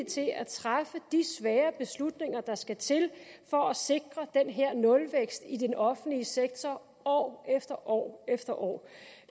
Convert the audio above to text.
til at træffe de svære beslutninger der skal til for at sikre den her nulvækst i den offentlige sektor år efter år efter år